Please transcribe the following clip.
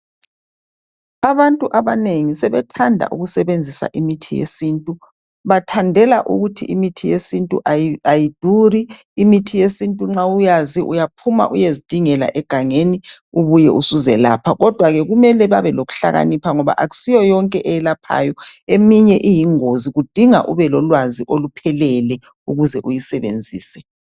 Abantu abanengi sebethanda ukusebenzisa imithi yesintu bathandela ukuthi imithi yesintu ayiduri imithi yesintu nxa uyazi uyaphuma uyezingela egangeni ubuye usuzelapha kodwa ke kumele babe lokuhlakanipha ngoba akusiyo yonke eyelaphayo eminye iyingozi kudinga ube lolwazi oluphelele ukuze uyisebenzise.